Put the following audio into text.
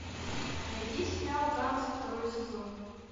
найди сериал танцы второй сезон